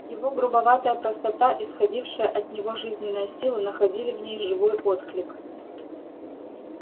его грубоватая простота исходившая от него жизненная сила находили в ней живой отклик